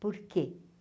Por quê?